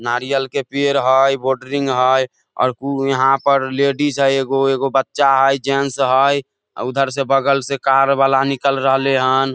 नारियल के पेड़ हेय बॉड्रिंग हेय और कु यहाँ पर लेडीज हेय एगो एगो बच्चा हेय जेंट्स हेय अ उधर से बगल से कार वाला निकल रहले हन।